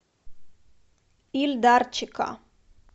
ильдарчика